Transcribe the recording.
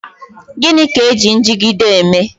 Gịnị ka eji njigide eme?